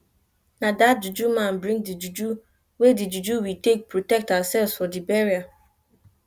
na dat juju man bring the juju we the juju we take protect ourselves for the burial